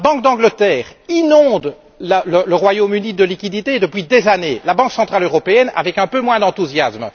La Banque d'Angleterre inonde le Royaume Uni de liquidités depuis des années, la Banque centrale européenne avec un peu moins d'enthousiasme.